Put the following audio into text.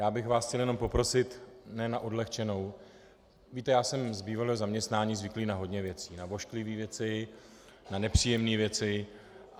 Já bych vás chtěl jenom poprosit, ne na odlehčenou, víte, já jsem z bývalého zaměstnání zvyklý na hodně věcí, na ošklivé věci, na nepříjemné věci.